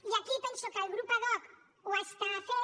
i aquí penso que el grup ad hoc ho està fent